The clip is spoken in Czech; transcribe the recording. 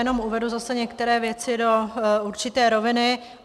Jenom uvedu zase některé věci do určité roviny.